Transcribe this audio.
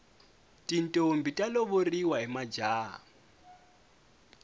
tintombhi ta lovoriwa hi majaha